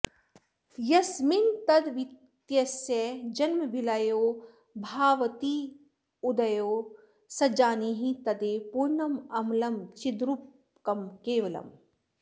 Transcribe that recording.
यस्मिंस्तद्द्वितयस्य जन्मविलयौ भास्वत्यनस्तोदये सज्जानीहि तदेव पूर्णममलं चिद्रूपकं केवलम्